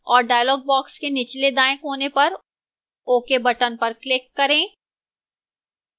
और dialog box के निचले दाएं कोने पर ok button पर click करें